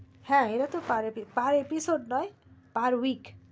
হ্যাঁ এরা তো per episode নয় per week